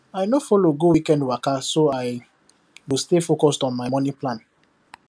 i no follow go weekend waka so i go stay focused on my money plan